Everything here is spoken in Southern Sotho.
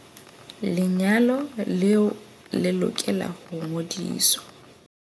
Lenyalo leo le lokela ho ngodiswa.